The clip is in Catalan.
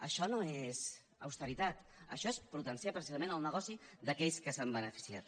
això no és austeritat això és potenciar precisament el negoci d’aquells que se n’han beneficiat